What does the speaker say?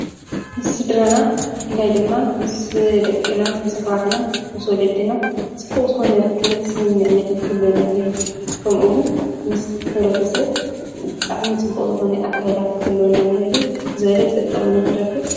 ምስ ስድራና ብፍላይ ድማ ምስ ደቅና ምስ ኣሕዋትና ምስ ወለድና ፅቡቅ ዝኾነ ርክብ ስምምዕነትን ክህልወና እኒሀሉ። ከምኡውን ምስ ሕብረተሰብ ብጣዕሚ ፅቡቅ ዝኾነ ኣካይዳ ክህልወና እኒሀሉ ዝበለፀ ጥቅሚ ንረክብ ።